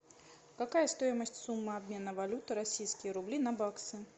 какая стоимость суммы обмена валюты российские рубли на баксы